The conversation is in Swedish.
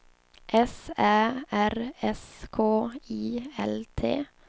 S Ä R S K I L T